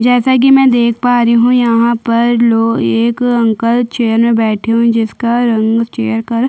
जैसे की मै यहाँ पर देख पा रही हूँ यहाँ पर लो एक अंकल चेयर मे बैठे हुए है जिसका रंग चेयर का रंग --